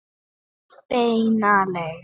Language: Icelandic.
Beina leið.